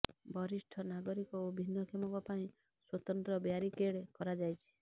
ବରିଷ୍ଠ ନାଗରିକ ଓ ଭିନ୍ନକ୍ଷମଙ୍କ ପାଇଁ ସ୍ୱତନ୍ତ୍ର ବ୍ୟାରିକେଡ କରାଯାଇଛି